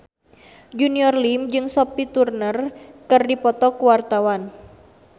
Junior Liem jeung Sophie Turner keur dipoto ku wartawan